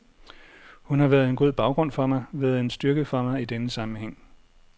Hun har været en god baggrund for mig, været en styrke for mig i denne sammenhæng.